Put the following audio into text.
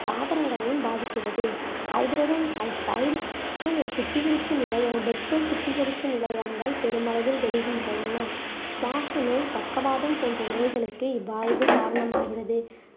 தாவரங்களையும் பாதிக்கிறது hydrogen sulphide சுத்திகரிப்பு நிலையம், petrol சுத்திகரிப்பு நிலையங்கள் பெருமளவில் பெருகின்றன சுவாச நோய், பக்கவாதம் போன்ற நோய்களுக்கு இவ்வாய்வு காரணமாகிறது